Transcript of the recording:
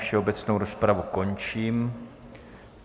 Všeobecnou rozpravu končím.